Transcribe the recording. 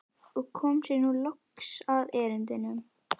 Og kom sér nú loks að erindinu.